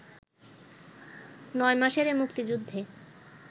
৯ মাসের এ মুক্তিযুদ্ধে